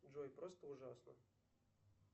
джой просто ужасно